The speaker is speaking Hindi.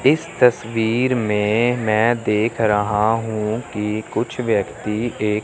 इस तस्वीर में मैं देख रहा हूं कि कुछ व्यक्ति एक--